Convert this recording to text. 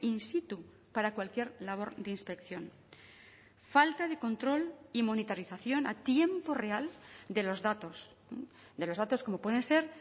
in situ para cualquier labor de inspección falta de control y monitorización a tiempo real de los datos de los datos como pueden ser